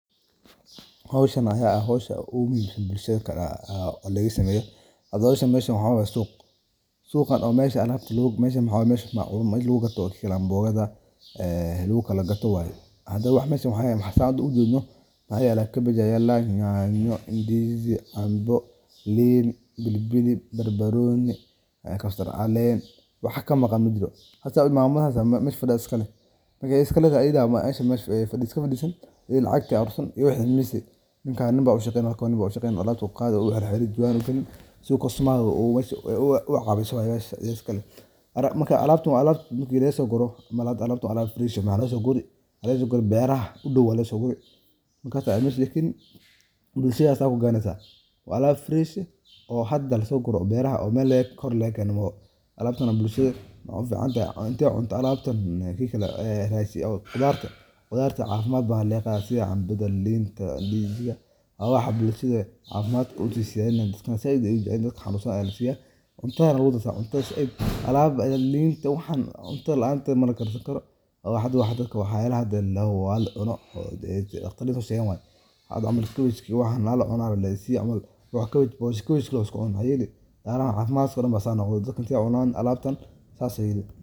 Waxaan ku iibgareynaa khudaarta iyo miro qurux badan oo tayo fiican, kuwaas oo lagu soo ururiyey goobaha ugu fiican ee beeraha, si aan udiyaar garo ugu nahay in aan ku siino macaamiisha noogu soo booqda suuqa, bakhaarka, ama gurigaaga qudhafka adiga oo helaya kala duwan oo ka mid ah canabka, liinbanaha, mooska, cambaha, tufaaxa, bacadlaha, baradlaha, qaraadhada, basasha, bambeelmoyska, caanjada, beetrootiga, luunta, karootiga, digirta, batatada, doqonada, qabaasha, saliidda, bambeelmoyska, iyo sabayda, iyo wax kaloo badan oo cajiib ah oo aad ku raaxaysan karto qof kasta oo ka mid ah qoyskaaga, waxaana hubaal in aad heli doonto qiimo jaban.